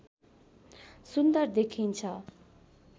सुन्दर देखिन्छ